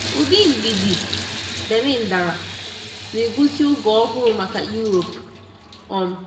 Ụdị mgbidi Berlin dara, na-egosi oge ọhụrụ maka Europe. um